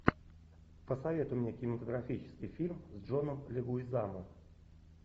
посоветуй мне кинематографический фильм с джоном легуизамо